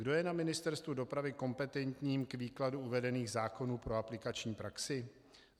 Kdo je na Ministerstvu dopravy kompetentním k výkladu uvedených zákonů pro aplikační praxi?